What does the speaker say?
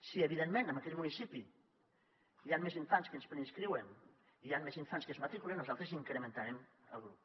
si evidentment en aquell municipi hi han més infants que es preinscriuen i hi han més infants que es matriculen nosaltres incrementarem el grup